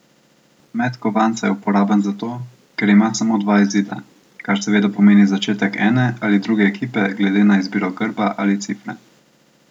Met kovanca je uporaben zato, ker ima samo dva izida, kar seveda pomeni začetek ene ali druge ekipe glede na izbiro grba ali cifre.